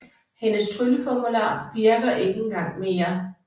Hendes trylleformular virker ikke engang mere